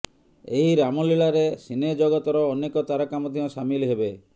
ଏହି ରାମଲୀଳାରେ ସିନେ ଜଗତର ଅନେକ ତାରକା ମଧ୍ୟ ସାମିଲ ହେବେ